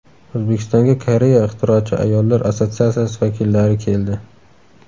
O‘zbekistonga Koreya ixtirochi ayollar assotsiatsiyasi vakillari keldi.